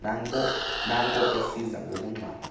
nanko esiza ngobungxamo